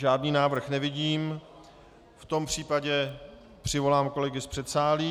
Žádný návrh nevidím, v tom případě přivolám kolegy z předsálí.